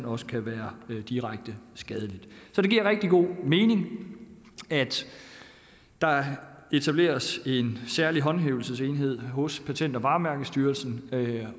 også kan være direkte skadeligt så det giver rigtig god mening at der etableres en særlig håndhævelsesenhed hos patent og varemærkestyrelsen